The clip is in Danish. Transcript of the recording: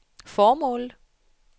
formålet